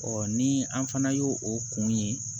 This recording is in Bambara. ni an fana y'o o kun ye